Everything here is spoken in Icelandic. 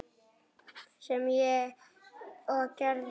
Sem ég og gerði.